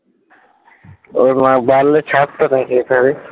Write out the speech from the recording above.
ওর ছাড়তো